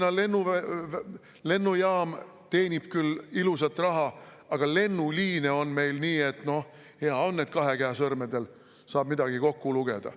Tallinna lennujaam teenib küll ilusat raha, aga lennuliine on meil nii, et hea on, kui kahe käe sõrmedel saab midagi kokku lugeda.